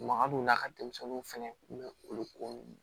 Magadon n'a ka denmisɛnninw fɛnɛ kun bɛ olu ko nunnu